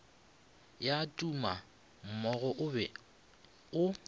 ya tumammogo o be o